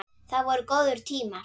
Það voru góðir tímar.